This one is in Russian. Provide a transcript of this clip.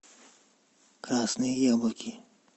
красные яблоки